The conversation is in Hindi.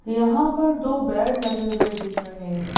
यहां पर दो बेड लगे हुए दिख रहे हैं।